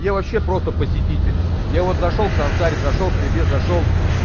я вообще просто посетитель я вот зашёл к сансаре зашёл к тебе зашёл